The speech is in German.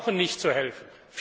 Wir brauchen nicht zu helfen.